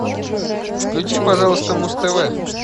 включи пожалуйста муз тв